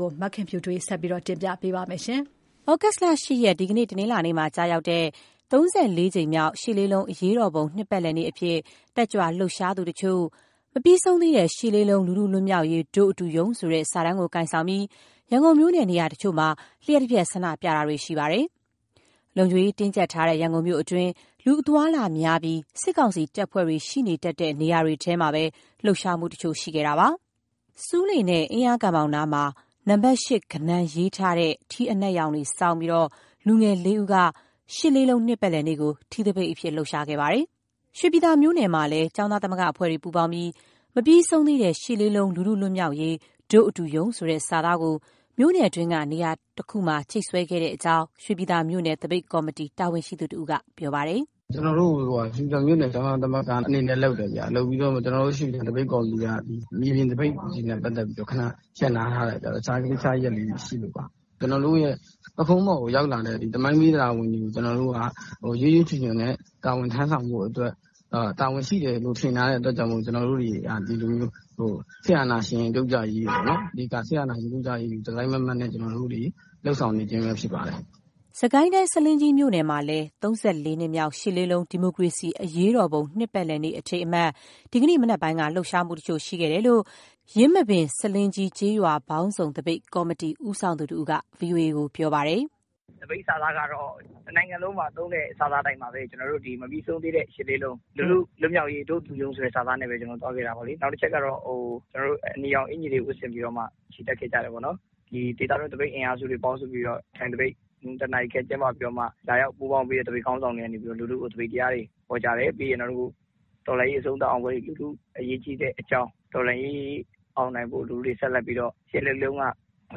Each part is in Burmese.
ကို မခင်ဖြူထွေးက တင်ပြပေးထားပါတယ်။ ဩဂုတ်လ ၈ ရက် ဒီနေ့ တနင်္လာနေ့မှာ ကျရောက်တဲ့ ၃၄ နှစ်မြောက် ၈၈၈၈ အရေးတော်ပုံ နှစ်ပတ်လည်နေ့အဖြစ် တက်ကြွလှုပ်ရှားသူတချို့ "မပြီးဆုံးသေးတဲ့ ၈ လေးလုံး လူထုလွတ်မြောက်ရေး တို့ အတူရုန်း" ဆိုတဲ့ စာတန်းကိုကိုင်ဆောင်ပြီး ရန်ကုန်မြို့နဲ့ နေရာတချို့မှာ လျှပ်တပြက်ဆန္ဒပြတာတွေ ရှိခဲ့ပါတယ်။ လုံခြုံရေးတင်းကြပ်ထားတဲ့ ရန်ကုန်မြို့အတွင်း လူအသွားအလာများပြီး စစ်ကောင်စီတပ်ဖွဲ့တွေရှိနေတတ်တဲ့ နေရာတွေထဲမှာပဲ လှုပ်ရှားမှုတချို့ ရှိခဲ့တာပါ။ ဆူးလေနဲ့ အင်းလျားကန်ဘောင်နားမှာ နံပါတ် ၈ ကဏန်းရေးထားတဲ့ ထီးအနက်ရောင်ဆောင်းပြီး လူငယ်လေးဦးက ၈၈၈၈ နှစ်ပတ်လည်နေ့ကို ထီးသပိတ်အဖြစ် လှုပ်ရှားခဲ့ပါတယ်။ ရွှေပြည်သာမြို့နယ်မှာလည်း ကျောင်းသားသမဂ္ဂအဖွဲ့တွေ ပူးပေါင်းပြီး မပြီးဆုံးသေးတဲ့ ၈ လေးလုံး လူထုလွတ်မြောက်ရေး တို့အတူရုန်း ဆိုတဲ့စာသားကို မြို့နယ်တွင်းက နေရာတခုမှာချိတ်ဆွဲခဲ့တဲ့အကြောင်း ရွှေပြည်သာမြို့နယ် သပိတ်ကော်မတီ တာဝန်ရှိသူတဦးက ပြောပါတယ်။ "ကျနော်တို့ ရွှေပြည်သာမြို့နယ် ကျောင်းသားသမဂ္ဂအနေနဲ့ လုပ်တယ်ဗျ။ ရွှေပြည်သာသပိတ်ကော်မတီက မြေပြင်သပိတ်တွေနဲ့ ပတ်သက်ပြီးတော့ ခဏရပ်နားထားတယ်ဗျ။ တခြားကိစ္စရပ်လေးတွေ ရှိလို့ပါ။ ကျနော်တို့ရဲ့ ပုခုံးပေါ်ကိုရောက် လာတဲ့ သမိုင်းပေးတာဝန်တွေကို ရွပ်ရွပ်ချွံချွံ တာဝန်ထမ်းဆောင်ဖို့အတွက် တာဝန်ရှိတယ်လို့ ထင်ထားတဲ့အတွက်ကြောင့် ကျနော်တို့တွေက ဒီလိုမျိုး စစ်အာဏာရှင်ပြုတ်ကျရေးအတွက် အဓိကလုပ်ဆောင်နေခြင်းပဲ ဖြစ်ပါတယ်။" စစ်ကိုင်းတိုင်း၊ ဆားလင်းကြီးမြို့နယ်မှာလည်း ၃၄ နှစ်မြောက် ၈၈၈၈ ဒီမိုကရေစီ အရေးတော်ပုံ နှစ်ပတ်လည်နေ့ အထိမ်းအမှတ် ဒီကနေ့ မနက်ပိုင်း လှုပ်ရှားမှု တချို့ ရှိခဲ့တာကို ယင်းမာပင် - ဆားလင်းကြီး ကျေးရွာပေါင်းစုံသပိတ် ကော်မတီ ဦးဆောင်သူတဦးက VOA ကို ပြောပါတယ်။ "သပိတ်စာသားကတော့ တနိုင်ငံလုံးမှာသုံးတဲ့ စာသားအတိုင်းပါပဲ - မပြီးဆုံးသေးတဲ့ ၈ လေးလုံး လူထုလွတ်မြောက်ရေး တို့ အတူရုန်း ဆိုတဲ့ စာသားနဲ့ပဲ ကျနော်တို့သွားခဲ့တာပေါ့လေ။ နောက်တချက်ကတော့ ကျနော်တို့ အနီရောင်အင်္ကျီတွေ ဝတ်ဆင်ပြီးတော့မှ ချီတက်ခဲ့ကြတယ်ပေါ့နော်။ ဒီဒေသတွင်း သပိတ်အင်အားစုတွေ ပေါင်းစုပြီးတော့ ထိုင်သပိတ် ၁ နာရီခန့် ကျင်းပပြီးတော့မှ လာရောက်ပူးပေါင်းပေးတဲ့ သပိတ်ခေါင်းဆောင်တွေက လူထုကို သပိတ်တရားတွေ ဟောကြားတယ်။ ပြီးရင်တော့ အခု တော်လှန်ရေးအဆုံးသတ် အောင်ပွဲတွေမှာ လူထုပါဝင်မှု အရေးကြီးတဲ့အကြောင်း၊ တော်လှန်ရေးအောင်နိုင်ဖို့ လူထုတွေဆက်လက်ပြီးတော့ ရှစ်လေးလုံးတုန်းက မ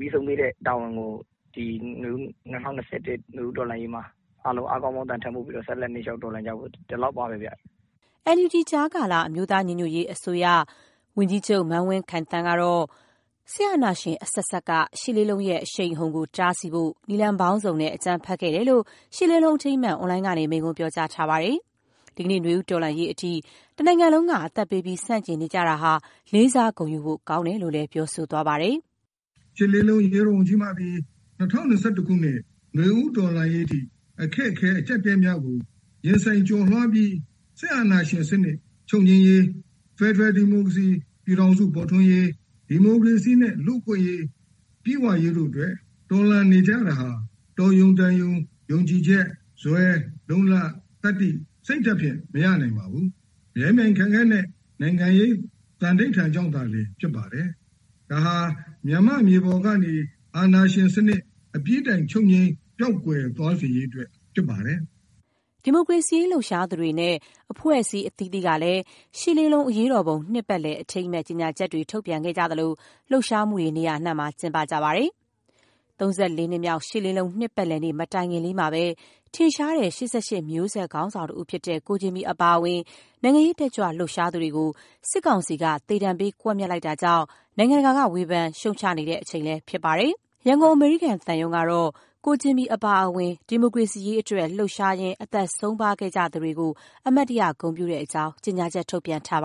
ပြီးဆုံးသေးတဲ့တာဝန်ကို ဒီ ၂၀၂၁ နွေဦးတော်လှန်ရေးမှာ အားလုံးအားကောင်းမောင်းသန် ထမ်းပိုးပြီးတော့ ဆက်လက် နင်းလျှောက် တော်လှန်ကြဖို့၊ ဒီလောက်ပါပဲဗျ။" ကြားကာလ အမျိုးသားညီညွတ်ရေး အစိုးရ NUG ရဲ့ ဝန်ကြီးချုပ် မန်းဝင်းခိုင်သန်းကတော့ စစ်အာဏာရှင်အဆက်ဆက်က ရှစ်လေးလုံးရဲ့ အရှိန်အဟုန်ကိုတားဆီးဖို့ နည်းလမ်းပေါင်းစုံနဲ့ အကြမ်းဖက်ခဲ့တယ်လို့ ရှစ်လေးလုံး အထိမ်းအမှတ် အွန်လိုင်းကနေ မိန့်ခွန်းပြောကြားထားပါတယ်။ ဒီကနေ့ နွေဦးတော်လှန်ရေးအထိ တနိုင်ငံလုံးက အသက်ပေးပြီး ဆန့်ကျင်နေကြတာဟာ လေးစား၊ ဂုဏ်ယူဖို့ကောင်းတယ်လို့ ပြောဆိုသွားပါတယ်။ "ရှစ်လေးလုံး အရေးတော်ပုံကြီးမှသည် ၂၀၂၁ ခုနှစ် နွေဦးတော်လှန်ရေးအထိ အခက်အခဲ၊ အကျပ်အတည်းများကို ရင်ဆိုင်ကျော်လွှားပြီး စစ်အာဏာရှင်စနစ် ချုပ်ငြိမ်းရေး၊ ဖက်ဒရယ်ဒီမိုကရေစီ ပြည်ထောင်စု ပေါ်ထွန်းရေး၊ ဒီမိုကရေစီနှင့် လူ့အခွင့်အရေး ပြည့်ဝရေးတို့အတွက် တော်လှန်နေကြတာဟာ တော်ရုံတန်ရုံ ယုံကြည်ချက်၊ ဇွဲ၊ လုံ့လ၊ သတ္တိ၊ စိတ်ဓာတ်ဖြင့် မရနိုင်ပါဘူး။ မြဲမြံခိုင်မြဲတဲ့ နိုင်ငံရေးသန္ဒိဋ္ဌာန်ကြောင့်သာလျင် ဖြစ်ပါတယ်။ ဒါဟာ မြန်မာ့မြေပေါ်ကနေ အာဏာရှင်စနစ် အပြီးတိုင်ချုပ်ငြိမ်း၊ ပျောက်ကွယ်သွားစေရေးအတွက် ဖြစ်ပါတယ်။" ဒီမိုကရေစီအရေး လှုပ်ရှားသူတွေနဲ့ အဖွဲ့အစည်းအသီးသီးကလည်း ၈၈၈၈ အရေးတော်ပုံ နှစ်ပတ်လည် အထိမ်းအမှတ် ကြေညာချက်တွေ ထုတ်ပြန်သလို လှုပ်ရှားမှုတွေ နေရာအနှံ့မှာ ကျင်းပပါတယ်။ ၃၄ နှစ်မြောက် ရှစ်လေးလုံးနှစ်ပတ်လည်နေ့ မတိုင်ခင်လေးမှာပဲ ထင်ရှားတဲ့ ရှစ်ဆယ့်ရှစ်မျိုးဆက် ခေါင်းဆောင်တဦးဖြစ်တဲ့ ကိုဂျင်မီအပါအဝင် နိုင်ငံရေးတက်ကြွလှုပ်ရှားသူတွေကို စစ်ကောင်စီဘက်က သေဒဏ်ပေး ကွပ်မျက်လိုက်တာကြောင့် နိုင်ငံတကာက ဝေဖန်ရှုတ်ချနေတဲ့အချိန်ဖြစ်ပါတယ်။ ရန်ကုန်အမေရိကန် သံရုံးကတော့ ကိုဂျင်မီအပါအဝင် ဒီမိုကရေစီရေးအတွက် လှုပ်ရှားရင်း အသက်ဆုံးပါးခဲ့သူတွေကို အမှတ်တရ ဂုဏ်ပြုတဲအ့ကြောင်း ကြေညာချက်ထုတ်ပြန်ထားပါ